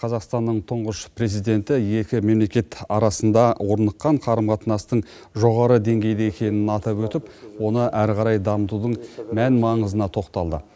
қазақстанның тұңғыш президенті екі мемлекет арасында орныққан қарым қатынастың жоғары деңгейде екенін атап өтіп оны әрі қарай дамытудың мән маңызына тоқталды